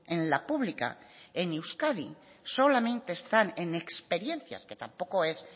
en la pública en euskadi solamente están en experiencias que tampoco es